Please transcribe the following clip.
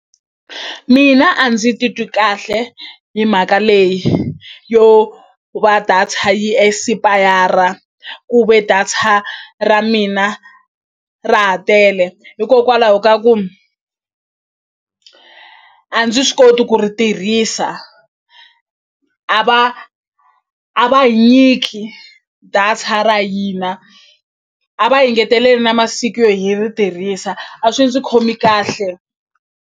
Mina a ndzi titwi kahle hi mhaka leyi yo va data yi esipayara ku ve data ra mina ra ha tele hikokwalaho ka ku a ndzi swi koti ku ri tirhisa a va a va hi nyiki data ra hina a va hi ngeteleli masiku yo hi ri tirhisa a swi ndzi khomi kahle.